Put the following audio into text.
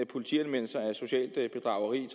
politianmeldelser af socialt bedrageri